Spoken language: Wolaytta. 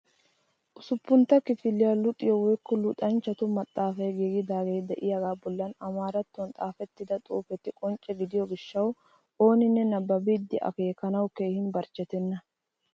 Usuppuntta kifiliya luxiyo woykko luxanchchatu maxaafay giigidaagee de'iyagaa bollan amaarattuwan xaafettida xuufeti qoncce gidiyo gishshawu ooninne nabbabidi akeekanawu keehi barchchetenna.